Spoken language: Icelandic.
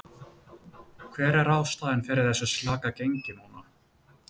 Hver er ástæðan fyrir þessu slaka gengi núna?